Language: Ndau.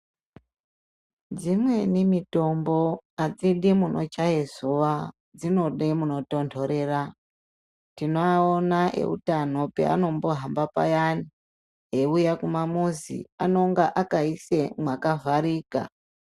Dzimweni mitombo hadzidi munochaiswa dzinode munotonhorera. Tinowawona ehutano anombohamba payani ewuya kumamuzi. Anonge akaisa makavharika.